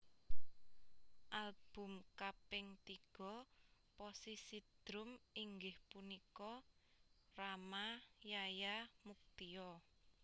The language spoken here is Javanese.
Album kaping tiga posisi drum inggih punika Rama Yaya Muktio